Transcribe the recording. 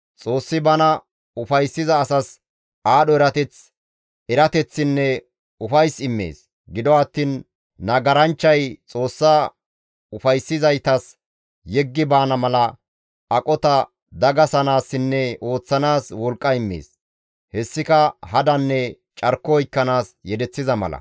Xoossi bana ufayssiza asas aadho erateth, erateththinne ufays immees; gido attiin nagaranchchay Xoossa ufayssizaytas yeggi baana mala aqota dagasanaassinne ooththanaas wolqqa immees; hessika hadanne carko oykkanaas yedeththiza mala.